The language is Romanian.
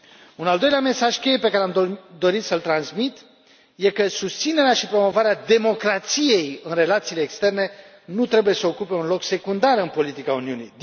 Un al doilea mesaj cheie pe care am dorit să îl transmit e că susținerea și promovarea democrației în relațiile externe nu trebuie să ocupe un loc secundar în politica Uniunii.